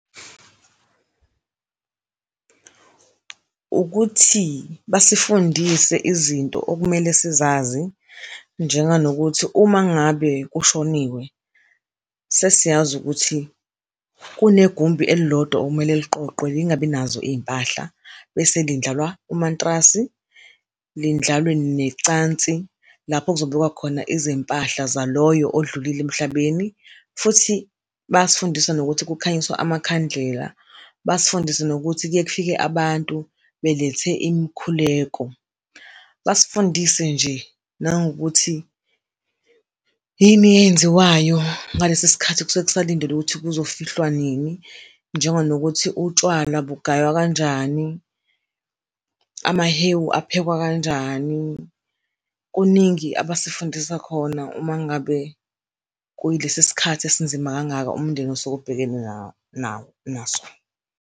Ukuthi basifundise izinto okumele sizazi njenganokuthi uma ngabe kushoniwe, sesiyazi ukuthi kunegumbi elilodwa okumele liqoqwe lingabi nazo iy'mpahla bese lindlalwa umantrasi, lindlalwe necansi lapho kuzobekwa khona izimpahla zaloyo odlulile emhlabeni. Futhi bayasifundisa nokuthi kukhanyiswa amakhandlela, basifundise nokuthi kuye kufike abantu belethe imikhuleko, basifundise nje nangokuthi yini eyenziwayo ngalesi sikhathi okusuke kusalindelwe ukuthi kuzofihlwa nini. Njenganokuthi utshwala bugaywa kanjani, amahewu aphekwa kanjani kuningi abasifundisa khona uma ngabe kuyilesi sikhathi esinzima kangaka umndeni osuke ubhekene nawo naso.